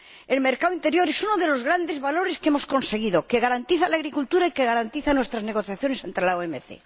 El mercado interior es uno de los grandes valores que hemos conseguido, que garantiza la agricultura y que garantiza nuestras negociaciones ante la OMC.